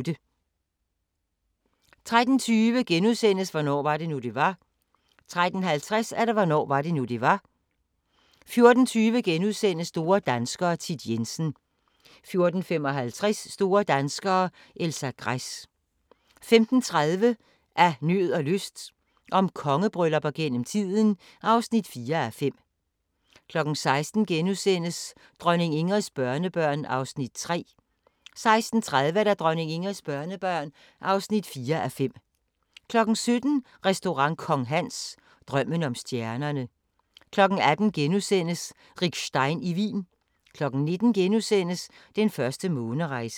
13:20: Hvornår var det nu, det var? * 13:50: Hvornår var det nu, det var? 14:20: Store danskere - Thit Jensen * 14:55: Store danskere - Elsa Gress 15:30: Af nød og lyst – om kongebryllupper gennem tiden (4:5) 16:00: Dronning Ingrids børnebørn (3:5)* 16:30: Dronning Ingrids børnebørn (4:5) 17:00: Restaurant Kong Hans – Drømmen om stjernerne 18:00: Rick Stein i Wien * 19:00: Den første månerejse *